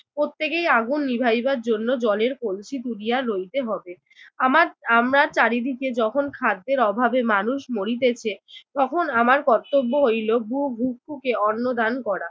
প্রত্যেকেই আগুন নিবাইবার জন্য জলের কলসি তুলিয়া লইতে হবে। আমার আমরা চারিদিকে যখন খাদ্যের অভাবে মানুষ মরিতেছে তখন আমার কর্তব্য হইল ভুবুক্ষুকে অন্ন দান করা।